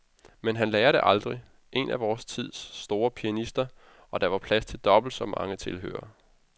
Men han lærer det aldrig. En af vor tids store pianister spillede, og der var plads til dobbelt så mange tilhørere.